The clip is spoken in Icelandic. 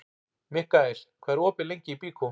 Mikkael, hvað er opið lengi í Byko?